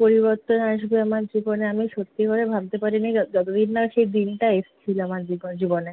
পরিবর্তন আসবে আমার জীবনে, আমি সত্যি করে ভাবতে পারিনি য~ যতদিন না সে দিনটা এসছিলো আমার জীব~ জীবনে।